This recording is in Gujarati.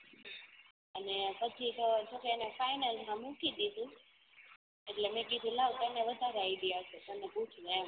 અને પછી તો બધાય ને final માં મૂકી દીધું એટલે મી કીધું લાવ તમને વધારે માહિતી હસે તમને પૂછી લઉં એમ